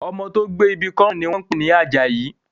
Ọmọ tó gbé ibi kọ́ ọrùn ni wọ́n ń pè ní Àjàyí